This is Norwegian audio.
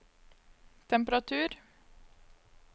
temperatur